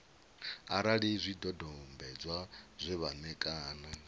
arali zwidodombedzwa zwe vha ṋekana